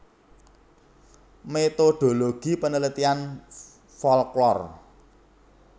Metodologi Penelitian Folklor